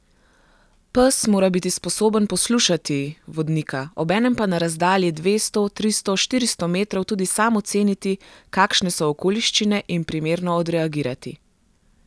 Pes mora biti sposoben poslušati vodnika, obenem pa na razdalji dvesto, tristo, štiristo metrov tudi sam oceniti, kakšne so okoliščine in primerno odreagirati.